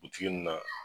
Butigi nin na